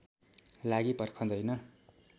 लागि पर्खँदैन